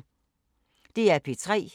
DR P3